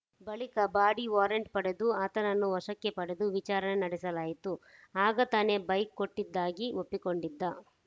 ಬಳಿಕ body warrant ಪಡೆದು ಆತನನ್ನು ವಶಕ್ಕೆ ಪಡೆದು ವಿಚಾರಣೆ ನಡೆಸಲಾಯಿತು ಆಗ ತಾನೇ ಬೈಕ್‌ ಕೊಟ್ಟಿದ್ದಾಗಿ ಒಪ್ಪಿಕೊಂಡಿದ್ದ